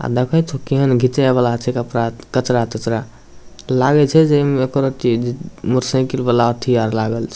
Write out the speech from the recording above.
अ देखो छै केहन घिंचे वला छै कप- कचरा तचरा लागे छै जे ए में एको रति मोटर साइकिल वला अथी आर लागल छै।